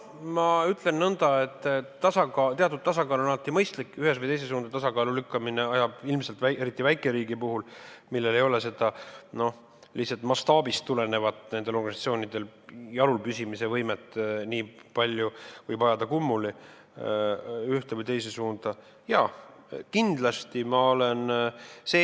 Ma ütlen nõnda, et teatud tasakaal on alati mõistlik, tasakaalu ühes või teises suunas lükkamine võib ilmselt, eriti väikeriigis, kus nendel organisatsioonidel ei ole lihtsalt mastaabist tulenevalt nii palju jalul püsimise võimet, ajada süsteemi ühte või teise suunda kummuli.